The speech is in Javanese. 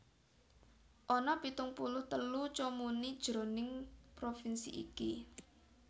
Ana pitung puluh telu comuni jroning provinsi iki